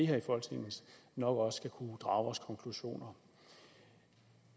her i folketinget nok også skal kunne drage vores konklusioner